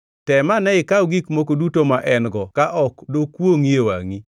Tem ane ikaw gik moko duto ma en-go ka ok dokwongʼi e wangʼi?”